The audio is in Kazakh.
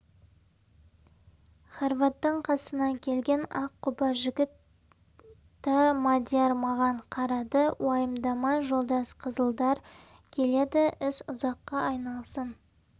хорваттың қасына келген аққұба жігіт да мадияр маған қарады уайымдама жолдас қызылдар келеді іс ұзаққа айналсын